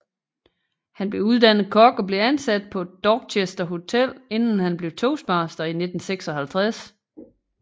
Han blev uddannet kok og blev ansat på Dorchester Hotel inden han blev toastmaster i 1956